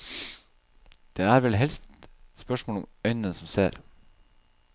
Det er vel helst spørsmål om øyne som ser.